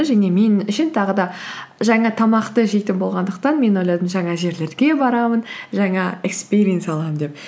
және мен үшін тағы да жаңа тамақты жейтін болғандықтан мен ойладым жаңа жерлерге барамын жаңа экспириенс аламын деп